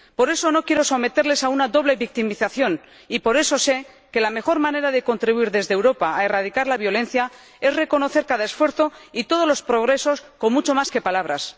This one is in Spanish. Por eso, no quiero someterles a una doble victimización y por eso sé que la mejor manera de contribuir desde Europa a erradicar la violencia es reconocer cada esfuerzo y todos los progresos con mucho más que palabras.